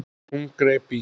Hún greip í